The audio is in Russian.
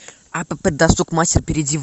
апп досуг мастер перейди в